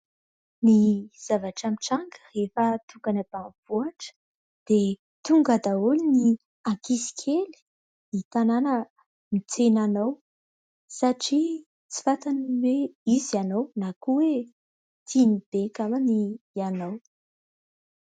Ny zavatra mitranga rehefa tonga any ambanivohitra dia tonga daholo ny ankizy kely ny tanàna mitsena anao satria tsy fantany hoe iza ianao na koa oe tiany be angamba ianao.